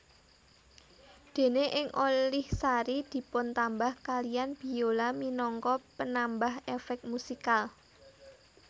Dene ing Olihsari dipuntambah kaliyan biola minangka penambah efek musikal